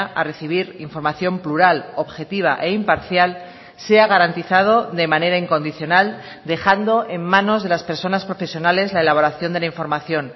a recibir información plural objetiva e imparcial sea garantizado de manera incondicional dejando en manos de las personas profesionales la elaboración de la información